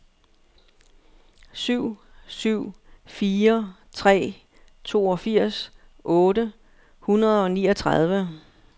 syv syv fire tre toogfirs otte hundrede og niogtredive